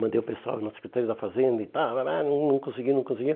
Mandei o pessoal na Secretaria da Fazenda e tal, não consegui, não consegui.